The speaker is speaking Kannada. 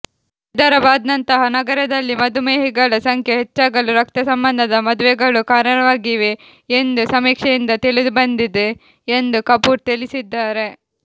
ಹೈದರಾಬಾದ್ನಂತಹ ನಗರದಲ್ಲಿ ಮಧುಮೇಹಿಗಳ ಸಂಖ್ಯೆ ಹೆಚ್ಚಾಗಲು ರಕ್ತಸಂಬಂಧದ ಮದುವೆಗಳೂ ಕಾರಣವಾಗಿವೆ ಎಂದು ಸಮೀಕ್ಷೆಯಿಂದ ತಿಳಿದುಬಂದಿದೆ ಎಂದು ಕಪೂರ್ ತಿಳಿಸಿದ್ದಾರೆ